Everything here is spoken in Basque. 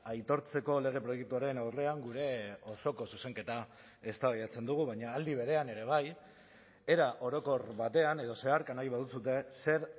aitortzeko lege proiektuaren aurrean gure osoko zuzenketa eztabaidatzen dugu baina aldi berean ere bai era orokor batean edo zeharka nahi baduzue zer